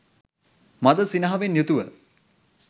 මඳ සිනාවෙන් යුතුව